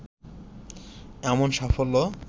এমন সাফল্য